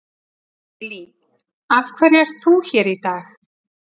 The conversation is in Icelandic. Lillý: Af hverju ert þú hér í dag?